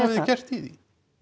þið gert í því